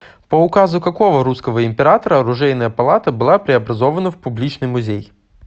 по указу какого русского императора оружейная палата была преобразована в публичный музей